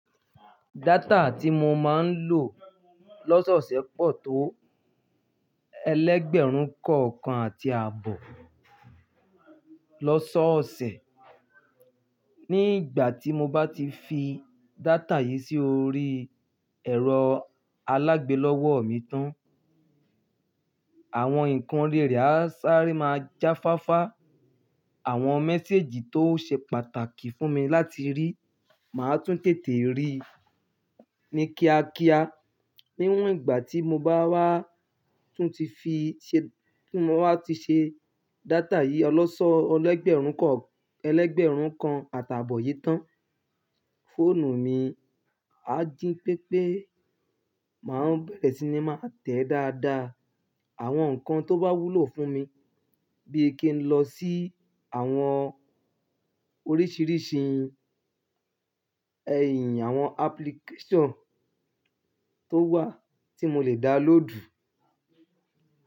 Data tí mo máa ń lò lọ́sọ̀ọ́ṣẹ́ pọ̀ tó ẹlégbẹ̀rún kan kan àti àbọ̀ lọ́sọ́ọ̀ọ́ṣẹ́. Ní ìgbà tí mo bá ti fi data yìí sí orí ẹ̀rọ alágbẹ̀ lọ́wọ́ mi tán, àwọn nǹkan ori re á sáré máa jáfáfá. Àwọn mẹ́sééjì tó ṣe pàtàkì fún mi láti rí, màá tún tètè rí ní kíákíá. Níwọ́n ìgbà tí mo bá wá tún ti fi ṣ-- tí mo wá ti ṣe data yìí ọlọ́sọ̀ọ́ ẹlẹ́gbẹ̀rún kan, ẹlẹ́gbẹ̀rún kan àti àbọ̀ yìí tán, fóònù mi á jí pépé. Màá bẹ̀rẹ̀ sí ní máa tẹ̀ dáadáa àwọn nǹkan tó bá wúlò fún mi bíi kí n lọ sí àwọn oríṣìíríṣìí ẹ̀yìn àwọn application tó wà tí mo lè dá lóòdù.